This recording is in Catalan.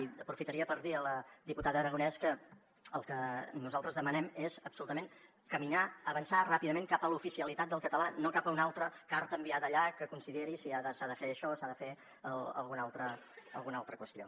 i aprofitaria per dir a la diputada aragonès que el que nosaltres demanem és absolutament caminar avançar ràpidament cap a l’oficialitat del català no cap a una altra carta enviada allà que consideri si s’ha de fer això s’ha de fer alguna altra qüestió